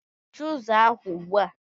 Mechie ụzọ ahụ ugbu a!